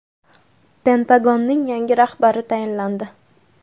Pentagonning yangi rahbari tayinlandi.